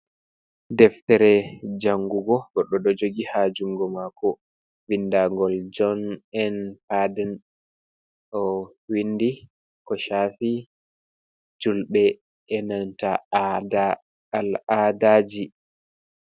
Deftere jangugo, goɗɗo ɗo jogi haa jungo maako, windangol John N. Parden. O windi ko shaafi julɓe e nanta al-ada ji.